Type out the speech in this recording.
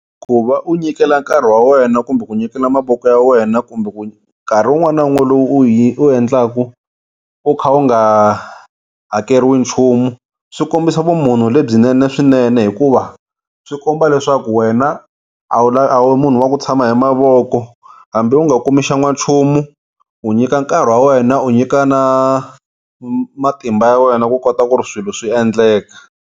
Ku va u nyikela nkarhi wa wena kumbe ku nyikela mavoko ya wena kumbe ku nkarhi wun'wana na wun'wana lowu u u endlaka u kha u nga hakeriwi nchumu swi kombisa vumunhu lebyinene swinene hikuva swi komba leswaku wena a wu a wu munhu wa ku tshama hi mavoko hambi u nga kumi xa n'wanchumu u nyika nkarhi wa wena u nyika na matimba ya wena ku kota ku ri swilo swi endleka.